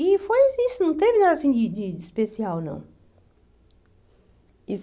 E foi isso, não teve nada assim de de especial, não. Isso